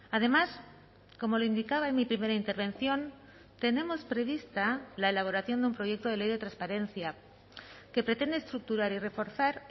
además como le indicaba en mi primera intervención tenemos prevista la elaboración de un proyecto de ley de transparencia que pretende estructurar y reforzar